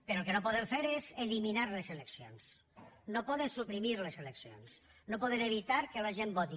però el que no poden fer és eliminar les eleccions no poden suprimir les eleccions no poden evitar que la gent voti